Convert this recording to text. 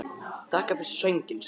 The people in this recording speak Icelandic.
Þakka þér fyrir sönginn, segir hann.